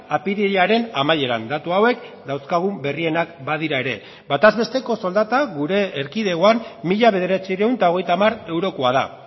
apirilaren amaieran datu hauek dauzkagun berrienak badira ere bataz besteko soldata gure erkidegoan mila bederatziehun eta hogeita hamar eurokoa da